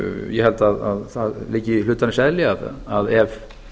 ég held að það liggi í hlutarins eðli ef